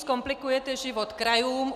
Zkomplikujete život krajům.